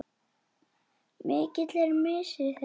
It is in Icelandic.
Mikill er missir þeirra.